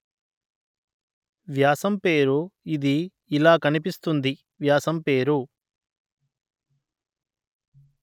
వ్యాసం పేరు ఇది ఇలా కనిపిస్తుంది వ్యాసం పేరు